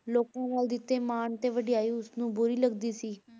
ਲੋਕਾਂ ਨਾਲ ਦਿੱਤੇ ਮਾਣ ਤੇ ਵਡਿਆਈ ਉਸਨੂੰ ਬੁਰੀ ਲੱਗਦੀ ਸੀ।